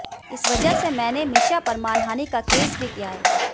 इस वजह से मैंने मीशा पर मानहानी का केस भी किया है